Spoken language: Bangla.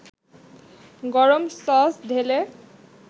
গরম সস ঢেলে